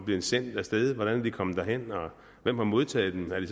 blevet sendt af sted hvordan er de kommet derhen og hvem har modtaget dem er de